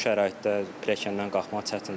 Bu şəraitdə pilləkəndən qalxmaq çətindir.